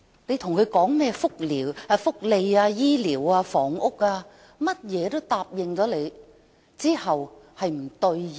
對於市民提出的福利、醫療及房屋訴求，他總是唯唯諾諾，但之後卻無法兌現。